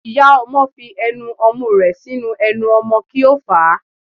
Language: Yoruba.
Iyá ọmọ fí enú omú rẹ sinú enú ọmọ ki o fa